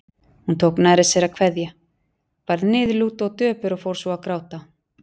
Hún tók nærri sér að kveðja, varð niðurlút og döpur og fór svo að gráta.